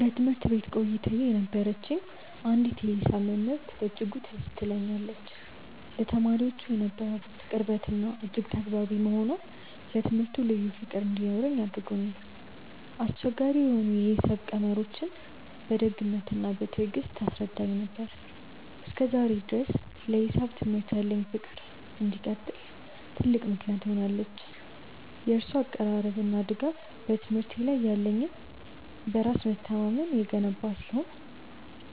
በትምህርት ቤት ቆይታዬ የነበረችኝ አንዲት የሂሳብ መምህር በእጅጉ ትዝ ትለኛለች፤ ለተማሪዎቿ የነበራት ቅርበትና እጅግ ተግባቢ መሆኗ ለትምህርቱ ልዩ ፍቅር እንዲኖረኝ አድርጎኛል። አስቸጋሪ የሆኑ የሂሳብ ቀመሮችን በደግነትና በትዕግስት ታስረዳኝ ስለነበር፣ እስከ ዛሬ ድረስ ለሂሳብ ትምህርት ያለኝ ፍቅር እንዲቀጥል ትልቅ ምክንያት ሆናኛለች። የእሷ አቀራረብና ድጋፍ በትምህርቴ ላይ ያለኝን በራስ መተማመን የገነባ ሲሆን፣